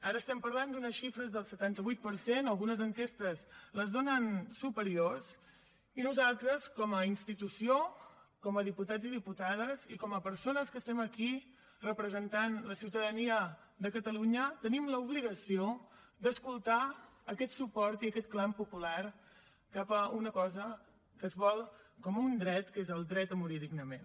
ara estem parlant d’unes xifres del setanta vuit per cent algunes enquestes les donen superiors i nosaltres com a institució com a diputats i diputades i com a persones que estem aquí representant la ciutadania de catalunya tenim l’obligació d’escoltar aquest suport i aquest clam popular cap a una cosa que es vol com un dret que és el dret a morir dignament